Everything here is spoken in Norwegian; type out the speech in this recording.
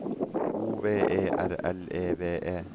O V E R L E V E